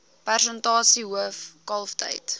persentasie hoof kalftyd